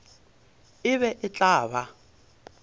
e be e tla ba